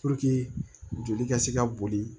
joli ka se ka boli